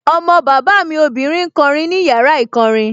Ọmọ bàbá mi obìnrin ń kọ orin ní yàrá ìkọrin